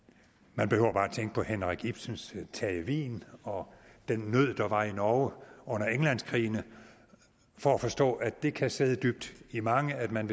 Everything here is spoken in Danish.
man behøver bare tænke på henrik ibsens terje vigen og den nød der var i norge under englandskrigene for at forstå at det kan sidde dybt i mange og at man